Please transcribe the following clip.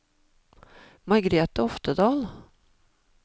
Margrete Oftedal